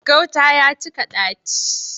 Gauta ya cika ɗaci.